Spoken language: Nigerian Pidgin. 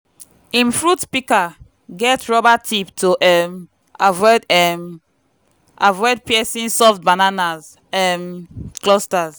him fruit pika get rubber tips to um avoid um avoid piercing soft banana um clusters.